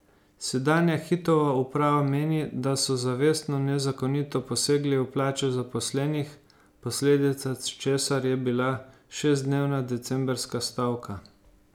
Sedanja Hitova uprava meni, da so zavestno nezakonito posegli v plače zaposlenih, posledica česar je bila šestdnevna decembrska stavka.